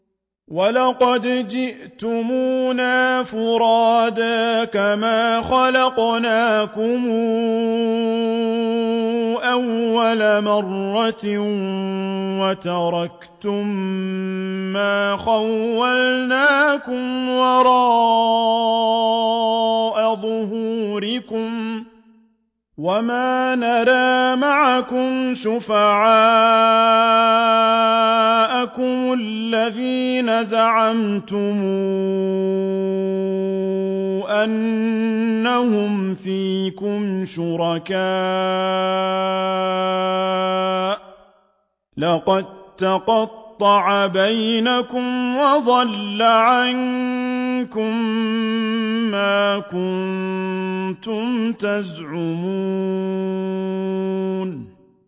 وَلَقَدْ جِئْتُمُونَا فُرَادَىٰ كَمَا خَلَقْنَاكُمْ أَوَّلَ مَرَّةٍ وَتَرَكْتُم مَّا خَوَّلْنَاكُمْ وَرَاءَ ظُهُورِكُمْ ۖ وَمَا نَرَىٰ مَعَكُمْ شُفَعَاءَكُمُ الَّذِينَ زَعَمْتُمْ أَنَّهُمْ فِيكُمْ شُرَكَاءُ ۚ لَقَد تَّقَطَّعَ بَيْنَكُمْ وَضَلَّ عَنكُم مَّا كُنتُمْ تَزْعُمُونَ